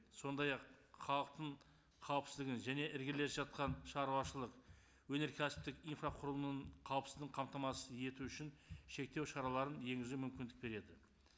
сондай ақ халықтың қауіпсіздігін және іргелес жатқан шаруашылық өнеркәсіптік инфрақұрылымының қауіпсіздігін қамтамасыз ету үшін шектеу шараларын енгізу мүмкіндік береді